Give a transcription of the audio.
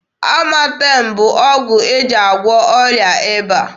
Amatem bụ ọgwụ e ji agwọ ọrịa ịba.